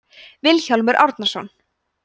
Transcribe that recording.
vilhjálmur árnason